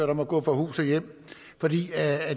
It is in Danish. der må gå fra hus og hjem fordi